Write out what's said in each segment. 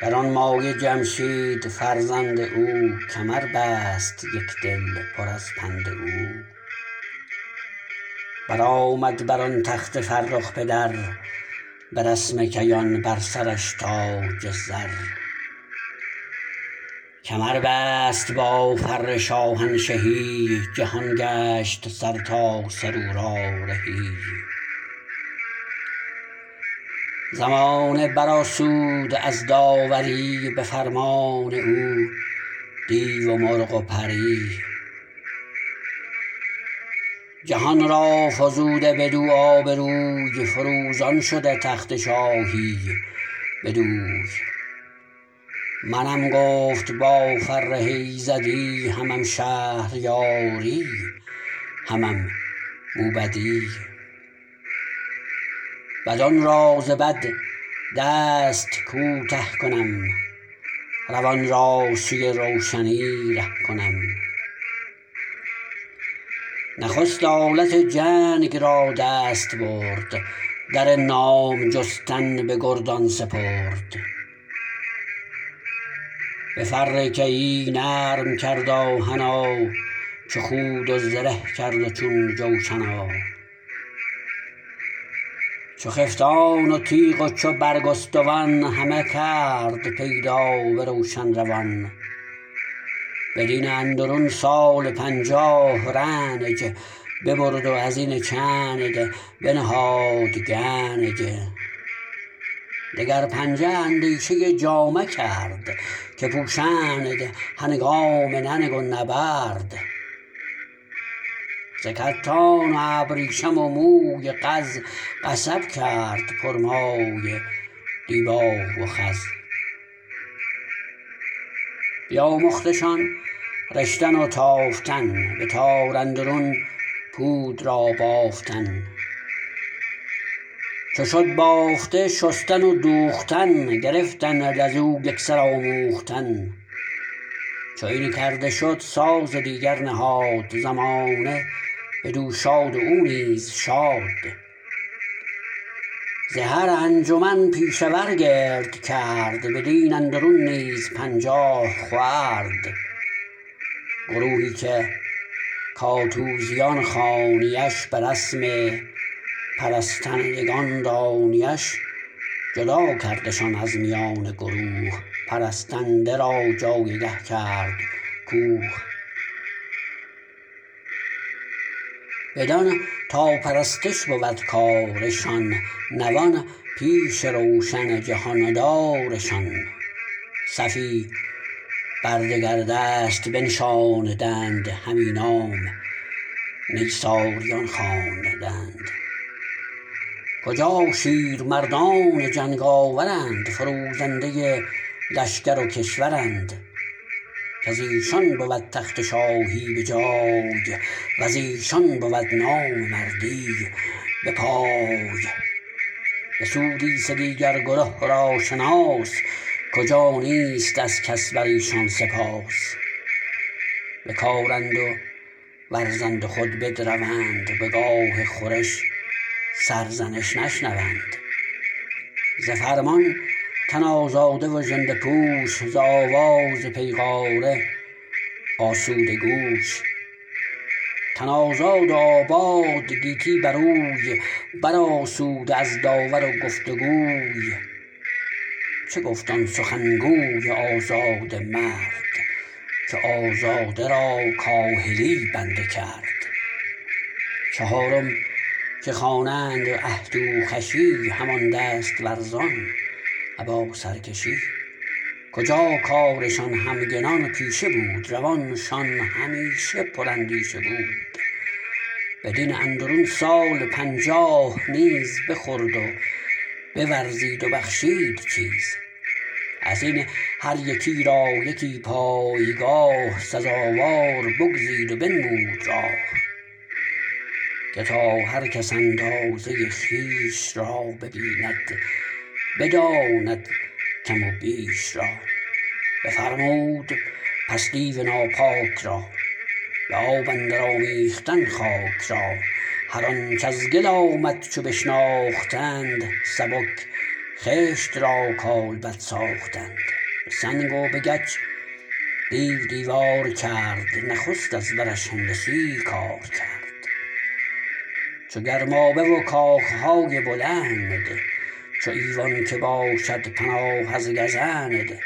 گرانمایه جمشید فرزند او کمر بست یک دل پر از پند او برآمد بر آن تخت فرخ پدر به رسم کیان بر سرش تاج زر کمر بست با فر شاهنشهی جهان گشت سرتاسر او را رهی زمانه بر آسود از داوری به فرمان او دیو و مرغ و پری جهان را فزوده بدو آبروی فروزان شده تخت شاهی بدوی منم گفت با فره ایزدی همم شهریاری همم موبدی بدان را ز بد دست کوته کنم روان را سوی روشنی ره کنم نخست آلت جنگ را دست برد در نام جستن به گردان سپرد به فر کیی نرم کرد آهنا چو خود و زره کرد و چون جوشنا چو خفتان و تیغ و چو برگستوان همه کرد پیدا به روشن روان بدین اندرون سال پنجاه رنج ببرد و از این چند بنهاد گنج دگر پنجه اندیشه جامه کرد که پوشند هنگام ننگ و نبرد ز کتان و ابریشم و موی قز قصب کرد پر مایه دیبا و خز بیاموختشان رشتن و تافتن به تار اندرون پود را بافتن چو شد بافته شستن و دوختن گرفتند از او یک سر آموختن چو این کرده شد ساز دیگر نهاد زمانه بدو شاد و او نیز شاد ز هر انجمن پیشه ور گرد کرد بدین اندرون نیز پنجاه خورد گروهی که کاتوزیان خوانی اش به رسم پرستندگان دانی اش جدا کردشان از میان گروه پرستنده را جایگه کرد کوه بدان تا پرستش بود کارشان نوان پیش روشن جهاندارشان صفی بر دگر دست بنشاندند همی نام نیساریان خواندند کجا شیر مردان جنگ آورند فروزنده لشکر و کشورند کز ایشان بود تخت شاهی به جای و ز ایشان بود نام مردی به پای بسودی سه دیگر گره را شناس کجا نیست از کس بر ایشان سپاس بکارند و ورزند و خود بدروند به گاه خورش سرزنش نشنوند ز فرمان تن آزاده و ژنده پوش ز آواز پیغاره آسوده گوش تن آزاد و آباد گیتی بر اوی بر آسوده از داور و گفتگوی چه گفت آن سخن گوی آزاده مرد که آزاده را کاهلی بنده کرد چهارم که خوانند اهتوخوشی همان دست ورزان ابا سرکشی کجا کارشان همگنان پیشه بود روانشان همیشه پر اندیشه بود بدین اندرون سال پنجاه نیز بخورد و بورزید و بخشید چیز از این هر یکی را یکی پایگاه سزاوار بگزید و بنمود راه که تا هر کس اندازه خویش را ببیند بداند کم و بیش را بفرمود پس دیو ناپاک را به آب اندر آمیختن خاک را هر آنچ از گل آمد چو بشناختند سبک خشت را کالبد ساختند به سنگ و به گچ دیو دیوار کرد نخست از برش هندسی کار کرد چو گرمابه و کاخ های بلند چو ایوان که باشد پناه از گزند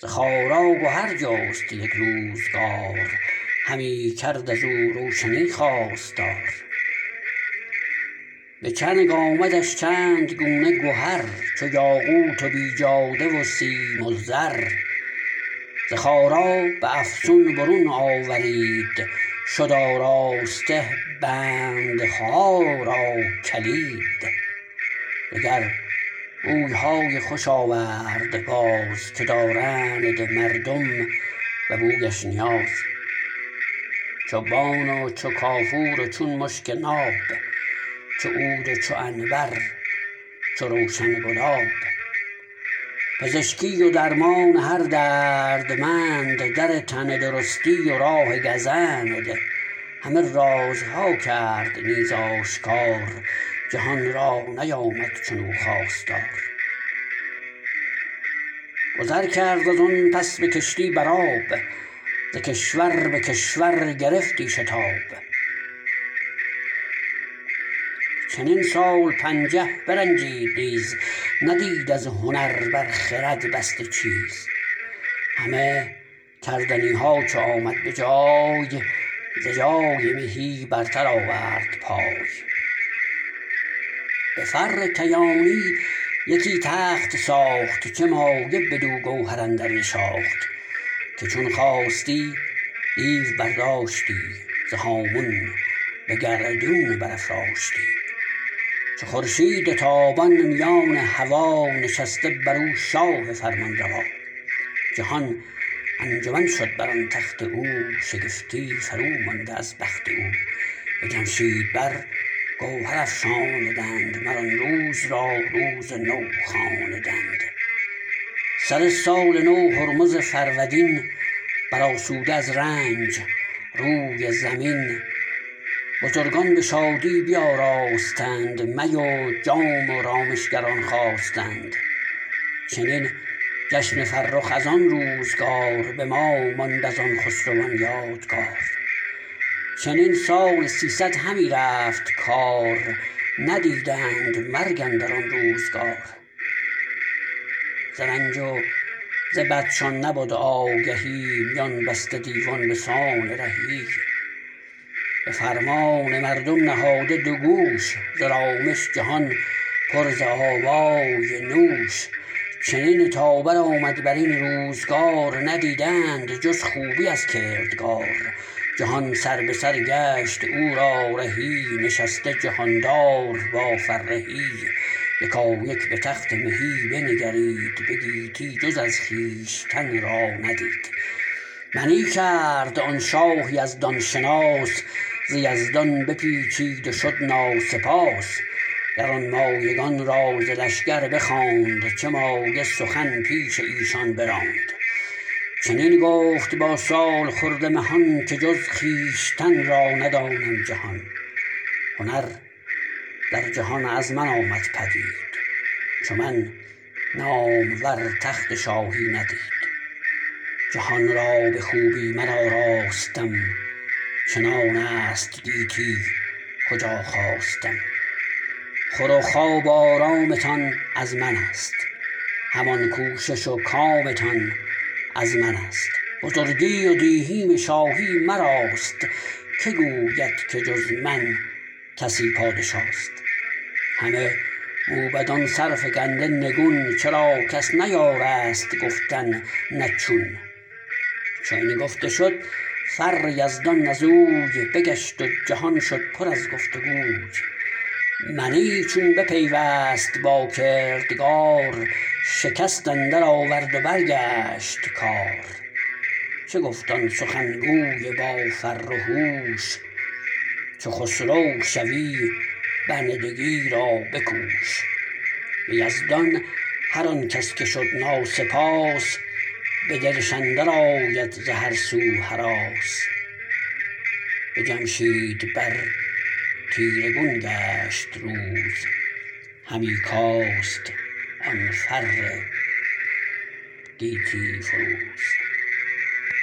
ز خارا گهر جست یک روزگار همی کرد از او روشنی خواستار به چنگ آمدش چند گونه گهر چو یاقوت و بیجاده و سیم و زر ز خارا به افسون برون آورید شد آراسته بندها را کلید دگر بوی های خوش آورد باز که دارند مردم به بویش نیاز چو بان و چو کافور و چون مشک ناب چو عود و چو عنبر چو روشن گلاب پزشکی و درمان هر دردمند در تندرستی و راه گزند همان رازها کرد نیز آشکار جهان را نیامد چنو خواستار گذر کرد از آن پس به کشتی بر آب ز کشور به کشور گرفتی شتاب چنین سال پنجه برنجید نیز ندید از هنر بر خرد بسته چیز همه کردنی ها چو آمد به جای ز جای مهی برتر آورد پای به فر کیانی یکی تخت ساخت چه مایه بدو گوهر اندر نشاخت که چون خواستی دیو برداشتی ز هامون به گردون برافراشتی چو خورشید تابان میان هوا نشسته بر او شاه فرمانروا جهان انجمن شد بر آن تخت او شگفتی فرومانده از بخت او به جمشید بر گوهر افشاندند مر آن روز را روز نو خواندند سر سال نو هرمز فرودین بر آسوده از رنج روی زمین بزرگان به شادی بیاراستند می و جام و رامشگران خواستند چنین جشن فرخ از آن روزگار به ما ماند از آن خسروان یادگار چنین سال سیصد همی رفت کار ندیدند مرگ اندر آن روزگار ز رنج و ز بدشان نبد آگهی میان بسته دیوان به سان رهی به فرمان مردم نهاده دو گوش ز رامش جهان پر ز آوای نوش چنین تا بر آمد بر این روزگار ندیدند جز خوبی از کردگار جهان سربه سر گشت او را رهی نشسته جهاندار با فرهی یکایک به تخت مهی بنگرید به گیتی جز از خویشتن را ندید منی کرد آن شاه یزدان شناس ز یزدان بپیچید و شد ناسپاس گرانمایگان را ز لشگر بخواند چه مایه سخن پیش ایشان براند چنین گفت با سالخورده مهان که جز خویشتن را ندانم جهان هنر در جهان از من آمد پدید چو من نامور تخت شاهی ندید جهان را به خوبی من آراستم چنان است گیتی کجا خواستم خور و خواب و آرامتان از من است همان کوشش و کامتان از من است بزرگی و دیهیم شاهی مراست که گوید که جز من کسی پادشاست همه موبدان سرفگنده نگون چرا کس نیارست گفتن نه چون چو این گفته شد فر یزدان از اوی بگشت و جهان شد پر از گفت وگوی منی چون بپیوست با کردگار شکست اندر آورد و برگشت کار چه گفت آن سخن گوی با فر و هوش چو خسرو شوی بندگی را بکوش به یزدان هر آن کس که شد ناسپاس به دلش اندر آید ز هر سو هراس به جمشید بر تیره گون گشت روز همی کاست آن فر گیتی فروز